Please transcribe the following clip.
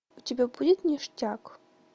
у тебя будет ништяк